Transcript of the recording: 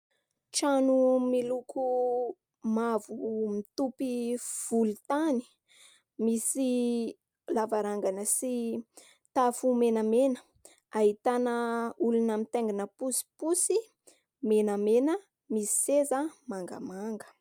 Trano miloko mavo mitopy volontany, misy lavarangana sy tafo menamena, ahitana olona mitaingina posiposy menamena misy seza mangamanga.